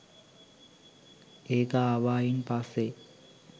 ඒක ආවායින් පස්සෙ